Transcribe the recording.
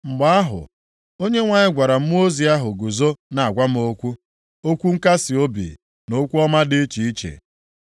Mgbe ahụ, Onyenwe anyị gwara mmụọ ozi ahụ guzo na-agwa m okwu, okwu nkasiobi na okwu ọma dị iche iche.